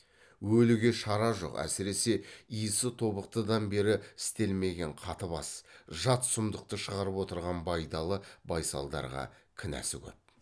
өліге шара жоқ әсіресе исі тобықтыдан бері істелмеген қатыбас жат сұмдықты шығарып отырған байдалы байсалдарға кінәсі көп